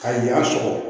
Ka yan sɔgɔ